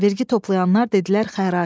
Vergi toplayanlar dedilər xərac.